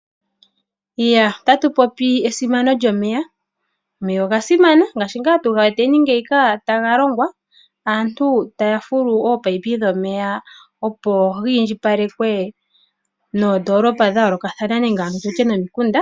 Otatu popi esimano lyomeya. Omeya oga simana ngaashi nga tuga weteni ngeyi taga longwa. Aantu taya fulu ominino dhomeya opo dhi indjipalekwe noondolopa nenge nomikunda dha yoolokathana.